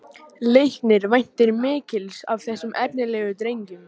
Leiknir væntir mikils af þessum efnilegu drengjum